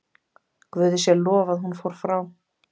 Guði sé lof að hún fór frá.